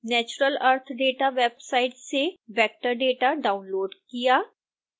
natural earth data website से vector data download किया